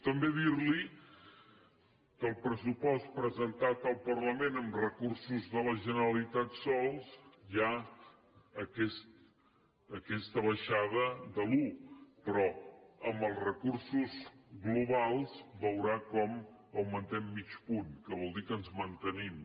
també dir li que al pressupost presentat al parlament amb recursos de la generalitat sols hi ha aquesta baixada de l’un però en els recursos globals veurà com augmentem mig punt que vol dir que ens mantenim